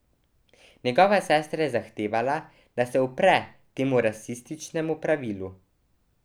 Njegova sestra je zahtevala, da se upre temu rasističnemu pravilu.